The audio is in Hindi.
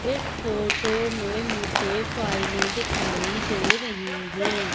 इस फोटो में मुझे फाइलें दिखाई दे रही हैं।